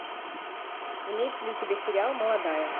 имеется ли у тебя сериал молодая